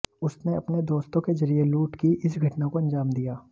उसने अपने दोस्तों के जरिए लूट की इस घटना को अंजाम दिया